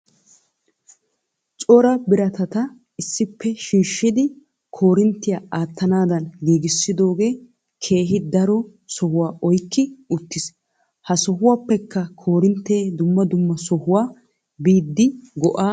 Cora biratata issippe shiishshidi korinttiya aattanaadan giigisidoogee keehi daro sohuwa oykki uttis. Ha sohuwappekka korintte dumma dumma sohuwa biidi go'aa immes.